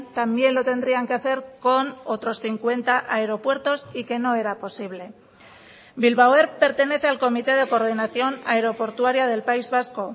también lo tendrían que hacer con otros cincuenta aeropuertos y que no era posible bilbao air pertenece al comité de coordinación aeroportuaria del país vasco